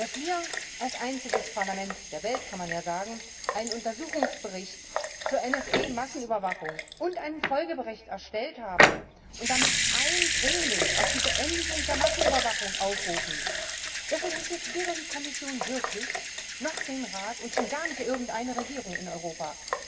Dass wir als einziges Parlament der Welt kann man ja sagen einen Untersuchungsbericht zur NSA Massenüberwachung und einen Folgebericht erstellt haben und damit eindringlich zur Beendigung der Massenüberwachung aufrufen, das interessiert weder die Kommission wirklich, noch den Rat, und schon gar nicht irgendeine Regierung in Europa.